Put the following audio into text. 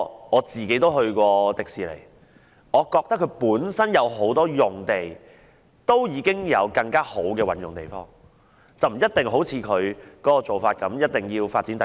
我曾前往迪士尼樂園，我個人認為樂園本身有很多用地，可以更好地運用，不一定要發展第二期。